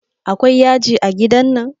Akwai yaji a gidan nan?